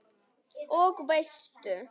Og veistu.